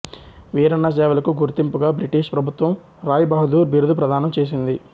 వీరన్న సేవలకు గుర్తింపుగా బ్రిటిష్ ప్రభుత్వం రాయ్ బహదూర్ బిరుదు ప్రదానం చేసింది